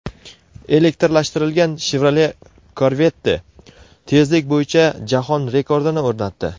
Elektrlashtirilgan Chevrolet Corvette tezlik bo‘yicha jahon rekordini o‘rnatdi.